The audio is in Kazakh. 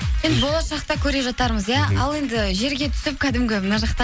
енді болашақта көре жатармыз иә ал енді жерге түсіп кәдімгі мына жақта